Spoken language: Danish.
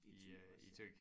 I øh i Thy